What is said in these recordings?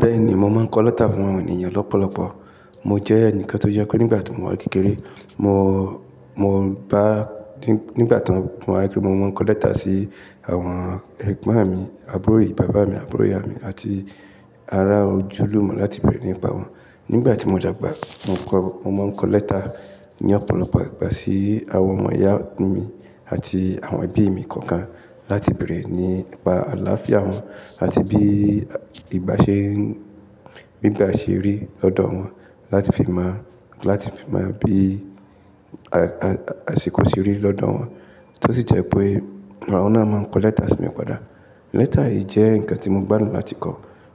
Bẹ́ẹ̀ni, mo máa ń kọ lẹ́tà fún àwọn ènìyàn lọ́pọ̀lọpọ̀. Mo jẹ́ ẹnìkan tó yẹ pé nígbà tí mo wà n kékeré, mo, mo bá nígbà tí mo wà kékeré, mo máa ń kọ lẹ́tà sí àwọn ẹ̀gbọ́n mi àbúrò ìyá bàbá mi, àbúrò ìyá mi àti ará ojúlùmọ̀ láti bèrè nípa wọn. Nígbà tí mo dàgbà, mo kọ, mo máa ń kọ lẹ́tà ní ọ̀pọ̀lọpọ̀ ìgbà sí àwọn ọmọ ìyá mi àti àwọn ẹbí mi kọ̀ọ̀kan láti bèrè nípa aláfíà wọn àti bí ìgbà ṣe, bí ìgbà ṣe rí lọ́dọ̀ wọn, láti fi mọ̀, láti fi mọ̀ bí àsìkò ṣe rí lọ́dọ̀ wọn. Tó sì jẹ́ pé àwọ́n náà máa ń kọ lẹ́tà sí mi padà. Lẹ́tà yìí jẹ́ nǹkan tí mo gbádùn láti kọ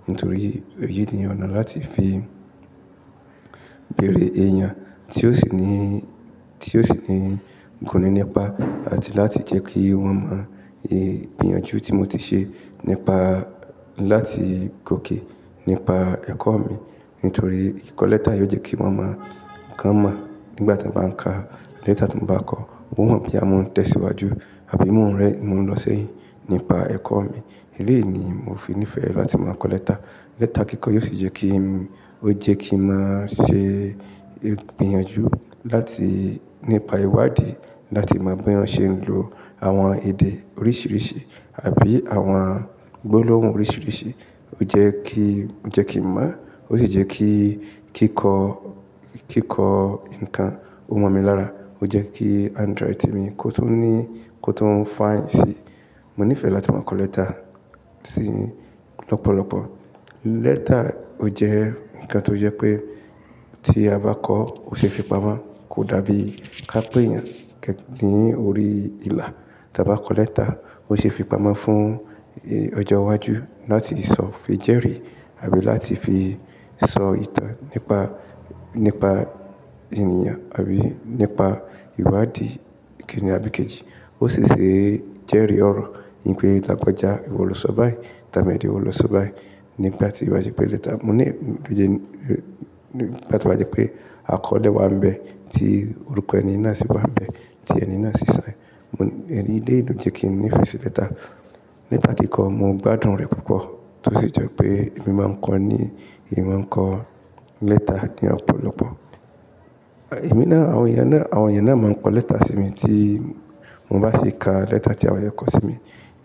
nítorí èyí ni ọ̀nà láti fi bèrè èèyàn tí ó sì ní, tí ó sì ní nǹkan nípa àti láti jẹ́ kí wọ́n mọ ìgbìyànjú tí mo ti ṣe nípa láti kò kí nípa ẹ̀kọ́ mi. Nítorí kíkọ lẹ́tà yìí ó jẹ́ kí wọ́n mọ̀ kán mọ̀ nígbà tí mo bá ń ka lẹ́tà tí mo bá kọ, wọn mọ̀ pé a máa ń tẹ̀síwájú àbí mo ń rẹ́, mo ń lọ sẹ́yìn nípa ẹ̀kọ́ mi. Eléyìí ni mo fi níìfẹ̀ láti máa kọ lẹ́tà. Lẹ́tà kíkọ́ yóò sì jẹ́ kí, ó jẹ́ kí n máa ṣe ìgbìyànjú láti nípa ìwádìí láti mọ bí wọ́n ṣe ń lo àwọn èdè oríṣìíríṣìí àbí àwọn gbólóhùn oríṣìíríṣìí. Ó jẹ́ kí, ó jẹ́ kí ń mọ̀, ó sì jẹ́ kí kíkọ́, kíkọ́ ǹkan, ó mọ̀ mi lára. Ó jẹ́ kí handwriting mi kó tún ní, kó tún fine sì. Mo níìfẹ̀ láti máa kọ lẹ́tà sì lọ́pọ̀lọpọ̀. Lẹ́tà ó jẹ́ ǹkan tó jẹ́ pé tí a bá kọ ó ṣe é fi pamọ́, kò dàbí ká pè èèyàn kẹ̀kẹ́ ní orí ìlà. Tí a bá kọ lẹ́tà, ó ṣe é fi pamọ́ fún ọjọ́ iwájú láti sọ, fi jẹ́rì àbí láti fi sọ ìtàn nípa, nípa ènìyàn àbí nípa ìwádìí kíni àbí kì í. Ó sì ṣe jẹ́rì ọ̀rọ̀ wípé lagbajá ìwọ lọ sọ bá ẹ̀, tàmédó ìwó lọ sọ bá ẹ̀ nípa tí ìwádìí pé lẹ́tà. Mo ní, ó jẹ́ nígbà tí wọ́n bá jẹ́ pé a kọ ilé wa ń bẹ tí orúkọ ẹni náà sì bá ń bẹ, tí ẹni náà sì ń sẹ́. Mo, ẹni lélẹ̀ ò jẹ́ kí n nífẹ̀ẹ́ sí lẹ́tà. Lẹ́tà kíkọ́ mo gbádùn rẹ̀ púpọ̀. Tó sì jẹ́ pé èmi máa ń kọ ní, èmi máa ń kọ lẹ́tà ní ọ̀pọ̀lọpọ̀. Ẹ̀, Èmi náà, àwọn èèyàn náà, àwọn èèyàn náà máa ń kọ lẹ́tà sí mi tí mo bá sì ka lẹ́tà tí àwọn yẹn kọ sí mi.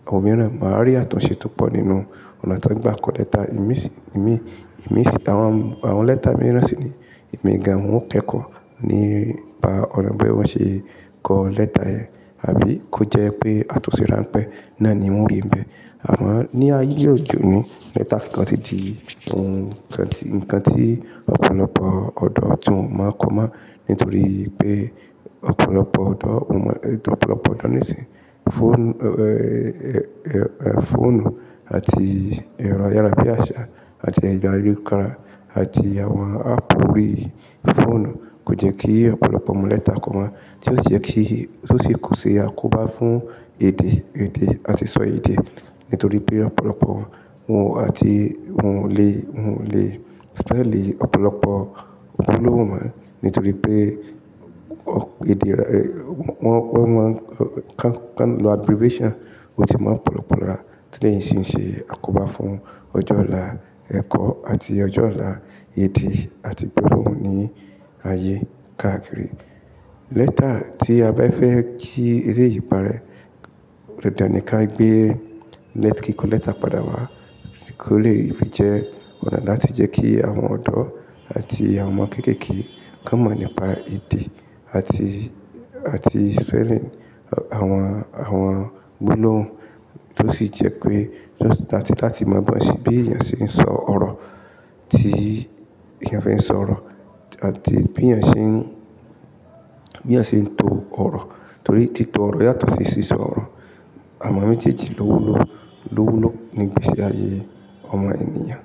Àwọn mìíràn máa rí àtúnṣe tó pọ̀ nínú ọ̀nà tí wọ́n bá ń kọ lẹ́tà. Èmi sì, èmi, èmi sì àwọn, àwọn lẹ́tà mìíràn sì ni èmi gan wọ́n kẹ́kọ̀ọ́ nípa ọ̀nà bí wọ́n ṣe kọ lẹ́tà yẹn. Àbí kó jẹ́ pé àtúnṣe ránpẹ́ náà ni wọ́n rí ń bẹ. Àmọ, ní ayé òde òní lẹ́tà kíkọ́ ti di ǹkan tí, ǹkan tí ọ̀pọ̀lọpọ̀ ọ̀dọ́ tíwon máa ń kọ mọ́ nítorí pé ọ̀pọ̀lọpọ̀ ọ̀dọ́, ọ̀pọ̀lọpọ̀ ọ̀dọ́ nísìí fọ́ùn, fóònù àti ìrọ̀yà láyé àṣà àti ẹ̀ya ìyókùra àti àwọn app orí fóònù kò jẹ́ kí ọ̀pọ̀lọpọ̀ ọmọ lẹ́tà kọ mọ́. Tí ó jẹ́ kí, tí ó sì kó ṣe àkóbá fún èdè, èdè àti sọ èdè. Nítorí pé ọ̀pọ̀lọpọ̀ òun àti òun lè, òun lè spell è ọ̀pọ̀lọpọ̀ gbólóhùn wọn. Nítorí pé ọ̀, èdè, wọ́n, wọ́n máa ń kàn, kàn lo abbreviation ó sì máa ń pọ̀lọpọ̀lá. Tí lè ìsinyìí ṣe àkóbá fún ọjọ́ ọ̀la ẹ̀kọ́ àti ọjọ́ ọ̀la èdè àti gbólóhùn ní ayé káàkiri. Lẹ́tà tí a bá fẹ́ kí eré yìí pa rẹ̀, rẹ̀ dàndàn ní ká gbé lẹ́, kí kọ lẹ́tà padà wá, kí ó lè fi jẹ́ ọ̀nà láti jẹ́ kí àwọn ọ̀dọ́ àti àwọn kéékèèké ká mọ̀ nípa èdè àti, àti spelling àwọn, àwọn gbólóhùn. Tó sì jẹ́ pé, tó láti, láti mọ bí wọ́n ṣe, bí èèyàn ṣe ń sọ ọ̀rọ̀ tí èèyàn fẹ́ sọ ọ̀rọ̀ àti bí èèyàn ṣe ń, bí èèyàn ṣe ń to ọ̀rọ̀. Nítorí tí to ọ̀rọ̀ yàtọ̀ sí ṣíṣọ ọ̀rọ̀. Àwọn méjéjẹ lówu ló, lówúló nígbéṣí ayé ọmọ ènìyàn.